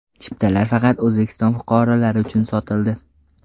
Chiptalar faqat O‘zbekiston fuqarolari uchun sotildi.